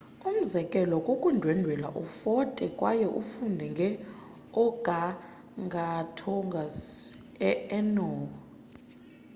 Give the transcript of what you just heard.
umzekelo kukundwendwela ufote kwaye ufunde nge organgatuangs e orneo